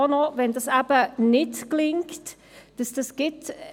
Aber dies kann nicht alles sein.